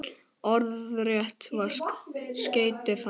Orðrétt var skeytið þannig